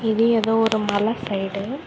இது ஏதோ ஒரு மலை சைடு .